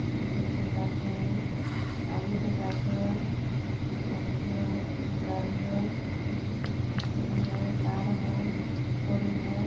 पीछे से गाछ है और आगे से गाछ है टेम्पो है गाड़ी है सीढ़ी सीढ़ी है तार है फूल है।